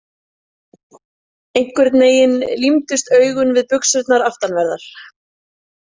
Einhvern veginn límdust augun við buxurnar aftanverðar.